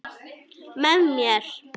Með mér.